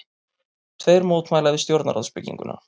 Tveir mótmæla við stjórnarráðsbygginguna